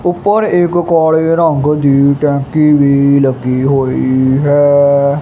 ਊਪਰ ਇਕ ਕਾਲੇ ਰੰਗ ਦੀ ਟੈਂਕੀ ਵੀ ਲੱਗੀ ਹੋਈ ਹੈ।